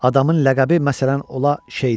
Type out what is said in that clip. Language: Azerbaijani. Adamın ləqəbi məsələn ola Şeyda.